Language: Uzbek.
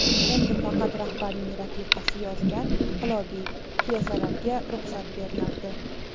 Endi faqat rahbarning rafiqasi yozgan inqilobiy pyesalarga ruxsat berilardi.